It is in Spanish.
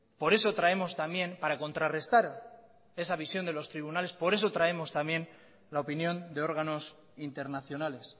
por eso traemos también para contrarrestar esa visión de los tribunales por eso traemos también la opinión de órganos internacionales